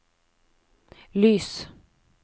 lys